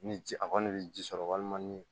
Ni ji a kɔni bɛ ji sɔrɔ walima ni